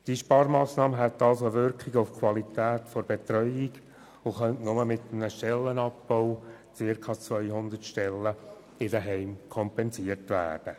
Diese Sparmassnahme hätte somit eine Auswirkung auf die Qualität der Betreuung und könnte nur mit dem Abbau von circa 200 Stellen bei den Heimen kompensiert werden.